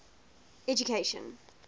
education